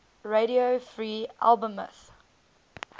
radio free albemuth